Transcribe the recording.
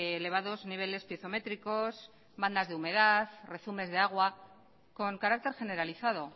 elevados niveles piezométricos bandas de humedad rezumes de agua con carácter generalizado